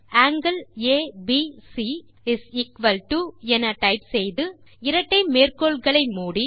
angle ABC என type செய்து இரட்டை மேற்கோள்களை மூடி